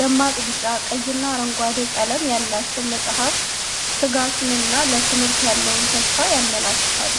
ደማቅ ቢጫ፣ ቀይና አረንጓዴ ቀለም ያላቸው መጻሕፍት ትጋትንና ለትምህርት ያለውን ተስፋ ያመለክታሉ።